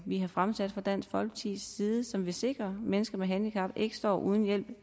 har fremsat fra dansk folkepartis side som vil sikre at mennesker med handicap ikke står uden hjælp